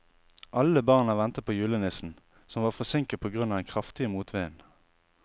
Alle barna ventet på julenissen, som var forsinket på grunn av den kraftige motvinden.